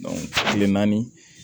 kile naani